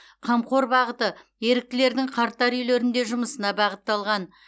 қамқор бағыты еріктілердің қарттар үйлерінде жұмысына бағытталған